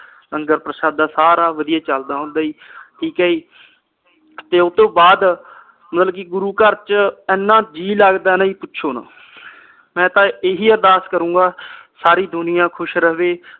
ਲੰਗਰ ਪ੍ਰਸ਼ਾਦਾ ਸਾਰਾ ਵਧੀਆ ਚਲਦਾ ਹੁੰਦਾ ਆ ਜੀ ਠੀਕ ਆ ਜੀ ਤੇ ਓਹਤੋਂ ਬਾਅਦ ਮਤਲਬ ਕੇ ਗੁਰੂ ਘਰ ਵਿਚ ਇਹਨਾਂ ਜੀ ਲਗਦਾ ਆ ਜੀ ਨਾ ਕੇ ਪੁੱਛੋਂ ਨਾ ਮੈਂ ਤਾ ਇਹੀ ਅਰਦਾਸ ਕਰੂਗਾ ਸਾਰੀ ਦੁਨੀਆਂ ਖੁਸ਼ ਰਹੇ